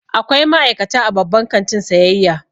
Akwai ma'aikata a babban kantin sayayya.